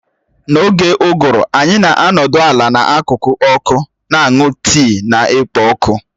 N'oge uguru anyị na-anọdụ ala n'akụkụ ọkụ, na-aṅụ tii na-ekpo ọkụ